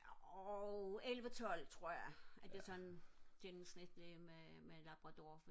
jo elleve tolv tror jeg er det sådan gennemsnitlige med med labrador